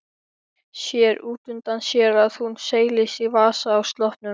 Sér útundan sér að hún seilist í vasa á sloppnum.